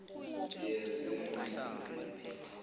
yezemisebenzi